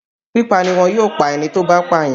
Pípa niwọn yóò pa ẹni tó bá pàyàn.